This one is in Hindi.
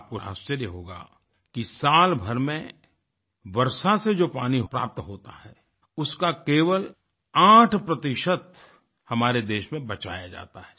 आपको आश्चर्य होगा कि साल भर में वर्षा से जो पानी प्राप्त होता है उसका केवल 8 हमारे देश में बचाया जाता है